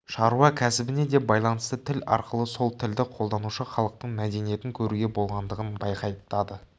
шаруа кәсібіне де байланысты тіл арқылы сол тілді қолданушы халықтың мәдениетін көруге болатындығын байқатады